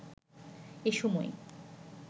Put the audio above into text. এ সময়